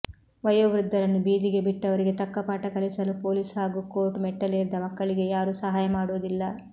ವಯೋವೃದ್ದರನ್ನು ಬೀದಿಗೆ ಬಿಟ್ಟವರಿಗೆ ತಕ್ಕ ಪಾಠಕಲಿಸಲು ಪೋಲಿಸ್ ಹಾಗೂ ಕೋರ್ಟು ಮೆಟ್ಟಿಲೇರಿದ ಮಕ್ಕಳಿಗೆ ಯಾರು ಸಹಾಯ ಮಾಡುವುದಿಲ್ಲ